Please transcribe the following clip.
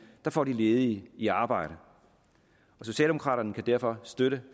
der får de ledige i arbejde socialdemokraterne kan derfor støtte